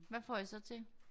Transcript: Hvad får I så til?